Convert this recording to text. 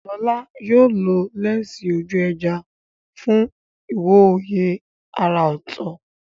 Lola yóò lo lẹ́ńsì ojú ẹja fún ìwòye àrà ọ̀tọ̀.